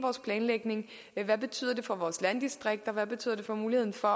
planlægningen hvad betyder det for vores landdistrikter hvad betyder det for muligheden for